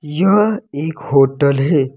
यह एक होटल है।